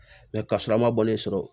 ka sɔrɔ a ma bɔlen sɔrɔ